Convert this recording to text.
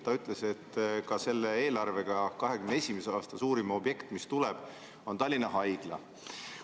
Ta ütles, et selle eelarve järgi on 2021. aasta suurim objekt Tallinna Haigla.